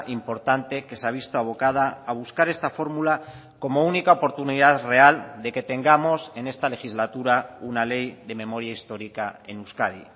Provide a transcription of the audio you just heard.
importante que se ha visto abocada a buscar esta fórmula como única oportunidad real de que tengamos en esta legislatura una ley de memoria histórica en euskadi